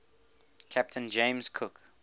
captain james cook